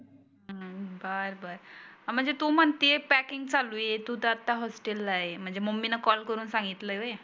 हम्म बरं बरं म्हणजे तु म्हणती आहे पॅकींग चालू आहे तु तर आता हॉस्टेलला ला आहे म्हणजे मम्मीला कॉल करुण सांगितलं व्हय?